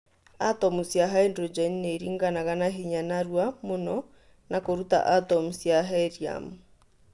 Atomũ cia haidrojeni nĩ iringanaga na hinya na narũa mũno na kũrũta atomũ cia heriamu